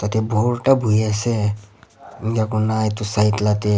yate bhota buhiase enkakurna edu side la--